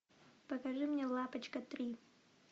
покажи мне лапочка три